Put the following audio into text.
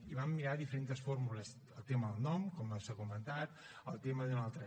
i vam mirar diferents fórmules el tema del nom com s’ha comentat el tema d’una altra